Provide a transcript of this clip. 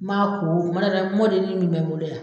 N m'a ko o mana kɛ n m'o delili min bɛ n bolo yan.